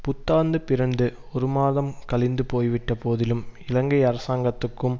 புத்தாண்டு பிறந்து ஒரு மாதம் கழிந்து போய்விட்ட போதிலும் இலங்கை அரசாங்கத்துக்கும்